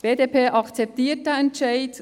Die BDP akzeptiert diesen Entscheid.